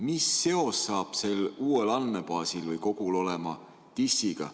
Mis seos saab sel uuel andmebaasil või -kogul olema TIS-iga?